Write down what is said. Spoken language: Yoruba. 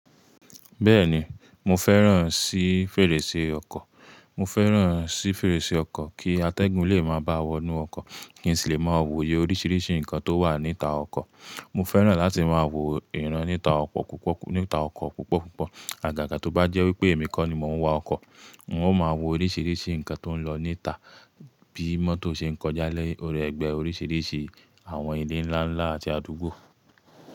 Bẹ́ẹ̀ni, mo fẹ́ràn sí fèrèsé ọkọ̀. Mo fẹ́ràn sí fèrèsé ọkọ̀ kí atẹ́gùn lè máa bá wọnú ọkọ̀, kí n sì le máa wòye oríṣiríṣi nǹkan tó wà níta ọkọ̀. Mo fẹ́ràn láti máa wo ìran níta ọkọ̀ púpọ̀ púpọ̀. Àgàgà tó bá jẹ́ wípé èmi kọ́ ni mò ń wa ọkọ̀, n ó máa wo oríṣiríṣi nǹkan tó ń lọ níta bí mọ́tò ṣe ń kọjá lẹ́ orí ẹgbẹ́ oríṣiríṣi àwọn ilé ńlá ńlá àti àdúgbò.